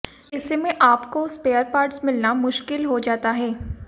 ऐसे में आपको स्पेयर पार्ट्स मिलना मुश्किल हो जाता है